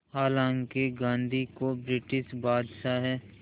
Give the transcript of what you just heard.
हालांकि गांधी को ब्रिटिश बादशाह